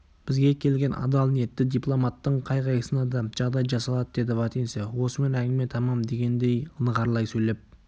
бізге келген адал ниетті дипломаттың қай-қайсысына да жағдай жасалады деді вотинцев осымен әңгіме тәмәм дегендей нығарлай сөйлеп